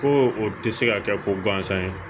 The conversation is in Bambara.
Ko o tɛ se ka kɛ ko gansan ye